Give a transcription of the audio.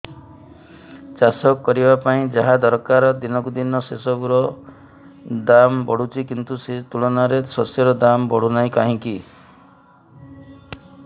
ଚାଷ କରିବା ପାଇଁ ଯାହା ଦରକାର ଦିନକୁ ଦିନ ସେସବୁ ର ଦାମ୍ ବଢୁଛି କିନ୍ତୁ ସେ ତୁଳନାରେ ଶସ୍ୟର ଦାମ୍ ବଢୁନାହିଁ କାହିଁକି